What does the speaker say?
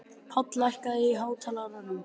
Páll, lækkaðu í hátalaranum.